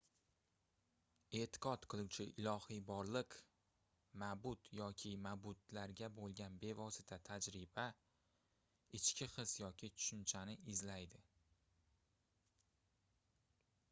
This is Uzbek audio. e'tiqod qiluvchi ilohiy borliq/ma'bud yoki ma'budlarga bo'lgan bevosita tajriba ichki his yoki tushunchani izlaydi